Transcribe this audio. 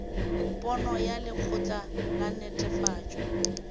pono ya lekgotla la netefatšo